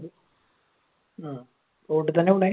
road ൽ തന്നെ ആണോ വീണേ?